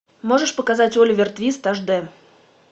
можешь показать оливер твист аш дэ